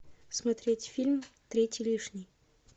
смотреть фильм третий лишний